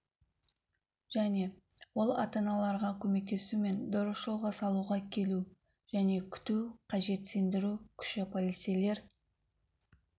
және ол ата-аналарға көмектесу мен дұрыс жолға салуға келу және күту қажет сендіру күші полицейлер